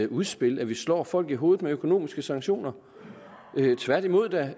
udspil at vi slår folk i hovedet med økonomiske sanktioner tværtimod det